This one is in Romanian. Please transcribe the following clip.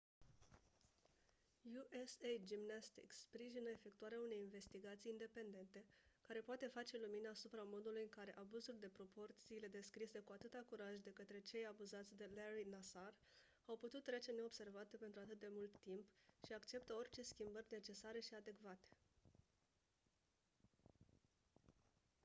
usa gymnastics sprijină efectuarea unei investigații independente care poate face lumină asupra modului în care abuzuri de proporțiile descrise cu atâta curaj de către cei abuzați de larry nassar au putut trece neobservate pentru atât de mult timp și acceptă orice schimbări necesare și adecvate